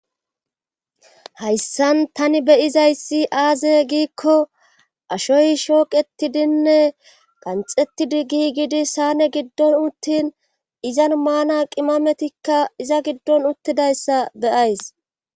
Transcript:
Hayssan tani beyizay si aaze giikko ashoy shooqetidinne qanxettidi gi gidi sane giddon uttin izan maana qimametikka iza giddon uttidayssa beyays